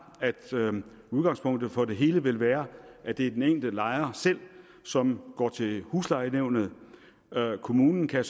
at udgangspunktet for det hele vil være at det er den enkelte lejer selv som går til huslejenævnet kommunen kan